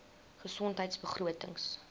gesondheidbegrotings